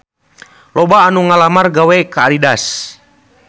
Loba anu ngalamar gawe ka Adidas